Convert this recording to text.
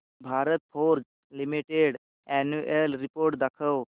Bharat Forge Limited annual report दाखव